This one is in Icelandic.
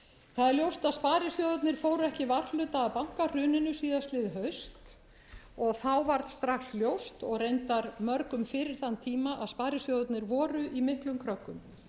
það er ljóst að sparisjóðirnir fóru ekki varhluta af bankahruninu síðastliðið haust og þá varð strax ljóst og reyndar mörgum fyrir þann tíma að sparisjóðirnir voru í miklum kröggum